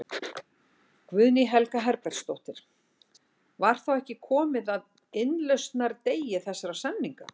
Guðný Helga Herbertsdóttir: Var þá ekki komið að innlausnardegi þessara samninga?